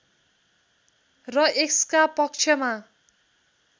र यसका पक्षमा